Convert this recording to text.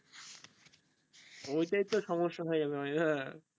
ওটাই টো সমস্যা ভায়া